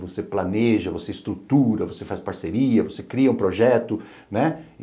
Você planeja, você estrutura, você faz parceria, você cria um projeto, né?